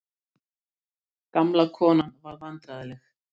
Gamla konan varð vandræðaleg.